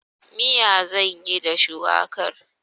Miya zan yi da shuwakar.